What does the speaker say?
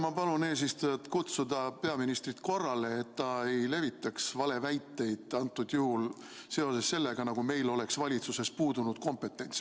Ma palun eesistujat kutsuda peaministrit korrale, et ta ei levitaks valeväiteid, antud juhul seoses sellega, nagu meil oleks valitsuses puudunud kompetents.